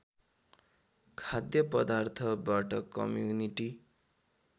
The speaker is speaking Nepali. खाद्य पदार्थबाट कम्युनिटी